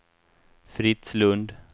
Fritz Lund